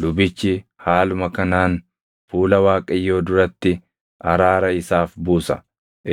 Lubichi haaluma kanaan fuula Waaqayyoo duratti araara isaaf buusa;